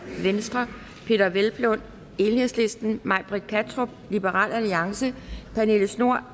peder hvelplund may britt kattrup pernille schnoor